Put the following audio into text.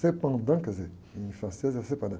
quer dizer, em francês é.